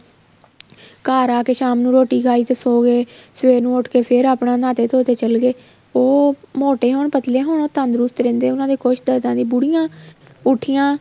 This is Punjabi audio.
ਘਰ ਆਏ ਸ਼ਾਮ ਨੂੰ ਰੋਟੀ ਖਾਕੀ ਤੇ ਸੋ ਗਏ ਸਵੇਰ ਨੂੰ ਉੱਠ ਕੇ ਫ਼ੇਰ ਆਪਣਾ ਨਾਤੇ ਧੋਤੇ ਚੱਲੇ ਗਏ ਉਹ ਮੋਟੋ ਹੋਣ ਪੱਤਲੇ ਹੋਣ ਉਹ ਤੰਦਰੁਸਤ ਰਹਿੰਦੇ ਉਹਨਾ ਦੇ ਕੁੱਛ ਦੁੱਖਦਾ ਨਹੀਂ ਬੁੜੀਆਂ ਉੱਠੀਆਂ